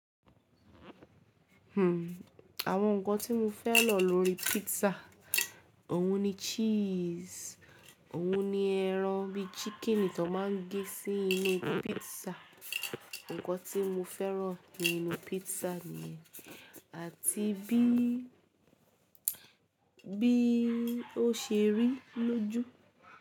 Hmm, àwọn ǹkan tí mo fẹ́ran lórí pizza, òhun ni cheese, òhun ni ẹran bí chicken ti wón máa ń gé sí inú pizza. Ǹkan tí mo fẹ́ràn nínú pizza niyen àti bí, bí ó ṣe rí lójú.